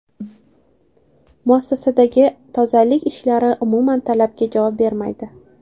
Muassasadagi tozalik ishlari umuman talabga javob bermaydi.